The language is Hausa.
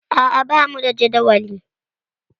A'a, bamu da jadawali.